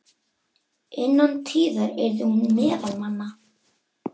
Innan tíðar yrði hún meðal manna.